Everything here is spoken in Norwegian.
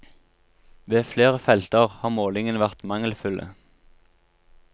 Ved flere felter har målingene vært mangelfulle.